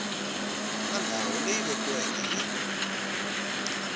na ndhawu leyi vekiweke hi